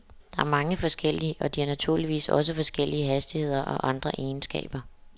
Der er mange forskellige, og de har naturligvis også forskellige hastigheder og andre egenskaber.